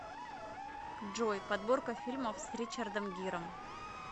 джой подборка фильмов с ричадром гиром